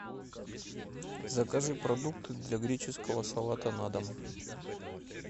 закажи продукты для греческого салата на дом